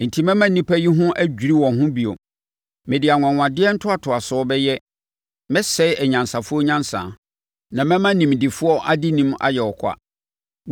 Enti mɛma nnipa yi ho adwiri wɔn bio. Mede anwanwadeɛ ntoatoasoɔ bɛyɛ; mɛsɛe anyansafoɔ nyansa, na mɛma nimdefoɔ adenim ayɛ ɔkwa.”